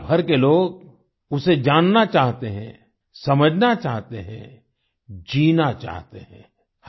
दुनिया भर के लोग उसे जानना चाहते हैं समझना चाहते हैं जीना चाहते हैं